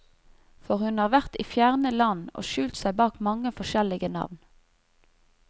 For hun har vært i fjerne land og skjult seg bak mange forskjellige navn.